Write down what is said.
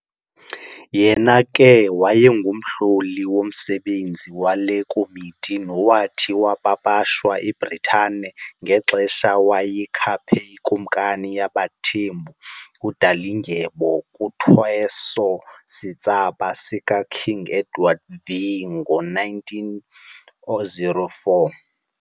Yena ke wayengumhloli womsebenzi wale komiti nowathi wapapashwa eBritane ngexesha wayekhaphe iKumkani yaBaThembu uDalindyebo kuthweso-sitsaba sika King Edward VII ngo-1904.